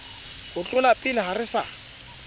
ho tlolapele ha re sa